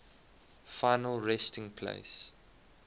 final resting place